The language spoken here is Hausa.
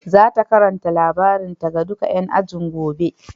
Za ta karanta labarinta ga duka ƴan ajin gobe.